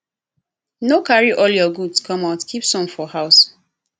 no carry all your goods come out keep some for house